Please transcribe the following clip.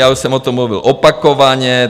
Já už jsem o tom mluvil opakovaně.